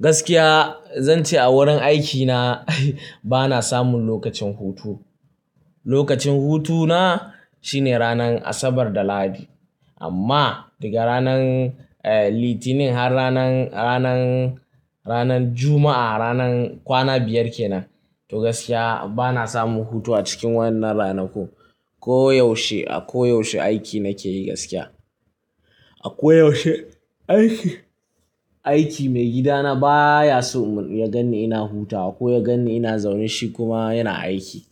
Gaskiya zan ce a wurin aikina bana samun lokacin hutu. Lokacin hutuna shine ranar Asabar da Lahadi. Amma daga ranan Litinin har ranan, ranan, ranan Juma'a, ranan kwana biyar ke nan. To gaskiya bana samun hutu a cikin wannan ranaku. Ko yaushe, a koyaushe aiki nake yi gaskiya. A koyaushe aiki. Aiki maigidana baya so ya ganni ina hutawa ko ya ganni ina zaune shi kuma yana aiki.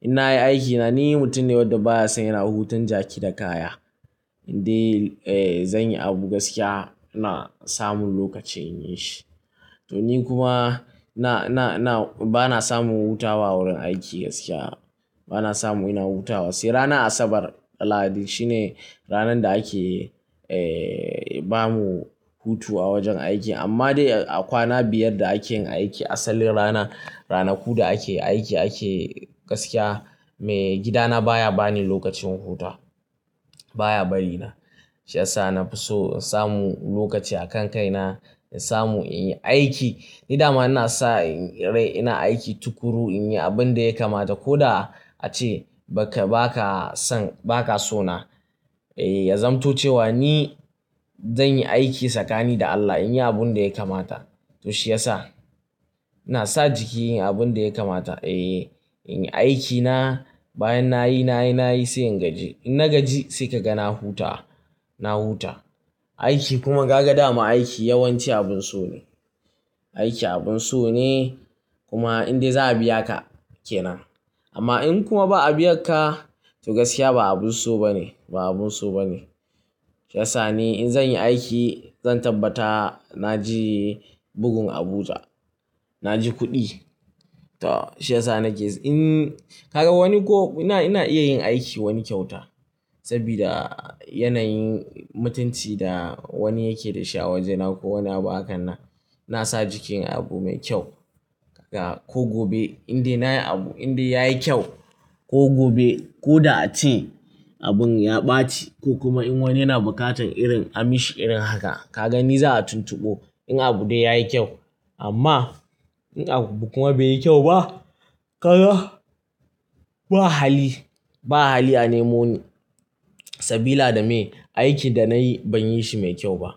In nayi aikina ni mutum ne wanda baya son yana huton jaki da kaya. Inde zan yi abu gaskiya ina samun lokaci in yi shi. To ni kuma na, na, na bana samun hutawa wurin aiki gaskiya. Bana samun ina hutawa. Sai ranar Asabar da Lahadi shine ranar da ake bamu hutu a wajen aiki. Amma dai a kwana biyar da ake aiki asalin rana, ranaku da ake aiki ake gaskiya maigidana baya bani lokacin huta. Baya bari na. Shi yasa na fi so in samu lokaci a kan kai na in samu in yi aiki. Ni dama ina sa ina aiki tukuru in yi abin da ya kamata ko da ace ba ka, ba ka son, ba ka so na. Ya zamto cewa ni zan yi aiki tsakani da Allah in yi abin da ya kamata. To shi yasa ina sa jiki inyi abin da ya kamata. Eh, in yi aikina bayan nayi, nayi, nayi sai in gaji. In na gaji sai ka ga na hutawa, na huta. Aiki kuma gaga da mu aiki yawanci abun so ne. Aiki abun so ne kuma inda za'a biya ka kenan. Amma in kuma ba'a biya ka to gaskiya ba abun so ba ne, ba abun so ba ne. Shi yasa ni in zan yi aiki zan tabbata na ji bugun abuja, na ji kuɗi. To shi yasa nake in ka ga wani ko ina, ina iya yin aiki wani kyauta sabida yanayin mutunci da wani yake da shi a wajena ko wani abu a kan na. Na sa jiki abu mai kyau. Kaka ko gobe inda nayi abu inda yayi kyau ko gobe ko da ace abun ya ɓaci ko kuma in wani yana buƙatar irin a mishi irin haka, ka ga ni za'a tuntugo in abu dai yayi kyau. Amma in abu kuma bai yi kyau ba, ka ga ba hali, ba hali a nemo ni sabila dame aiki da nayi ban yi shi mai kyau ba.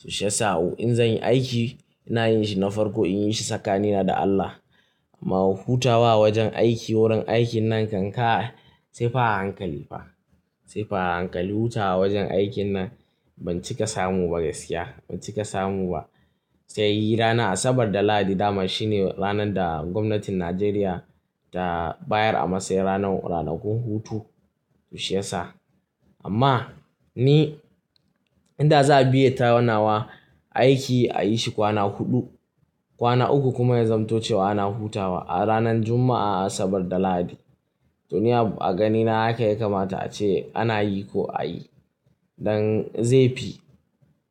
To shi yasa in zan yi aiki ina yin shi na farko in yi shi tsakanina da Allah. Amma hutawa wajen aiki wurin aiki nan kankai sai fara hankali fa. Sai fa a hankali hutawa wajen aikin nan ban cika samu ba gaskiya, ban cika samu ba. Sai yi ranar Asabar da Lahadi dama shine ranar da gwamnatin Najeriya ta bayar a masayin ranar, ranakun hutu. To shi yasa amma ni inda za'a biye tayarnawa aiki a yi shi kwana huɗu, kwana uku kuma ya zamto cewa ana hutawa a ranar Juma'a, Asabar da Lahadi. To ni a ganina haka ya kamata ace ana yi ko a yi. Dan zai fi,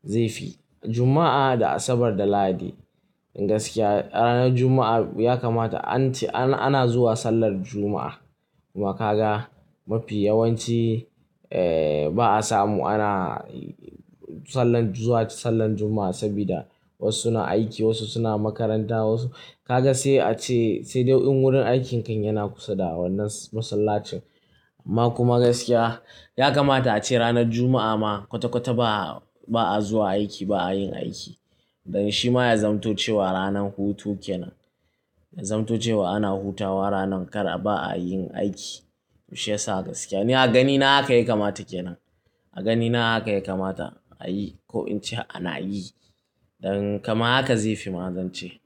zai fi Juma'a da Asabar da Lahadi. Gaskiya ranar Juma'a ya kamata an ce ana zuwa sallar Juma'a. Kuma ka ga mafi yawanci ba'a samu ana sallar zuwa sallar Juma'a sabida wasu suna aiki, wasu suna makaranta wasu ka ga sai ace sai dai wurin aikinka yana kusa da wannan masallacin. Amma kuma gaskiya ya kamata ace ranar Juma'a ma kwata-kwata ba'a zuwa aiki ba'a yin aiki. Dan shi ma ya zamto cewa ranar hutu kenan. Ya zamto cewa ana hutawa ranar kar a ba'a yin aiki. To shi yasa gaskiya ni a ganina haka ya kamata kenan. A ganina haka ya kamata a yi ko in ce ana yi. Dan kama haka zai fi ma zan ce.